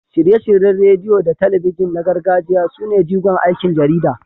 Shirye-shiryen rediyo da talabijin na gargajiya sune jigon aikin jarida.